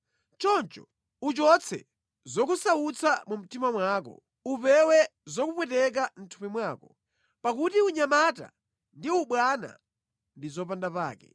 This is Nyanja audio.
Choncho uchotse zokusautsa mu mtima mwako, upewe zokupweteka mʼthupi mwako, pakuti unyamata ndi ubwana ndi zopandapake.